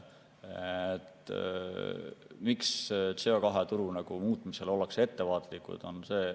Miks CO2 turu muutmisel ollakse ettevaatlikud?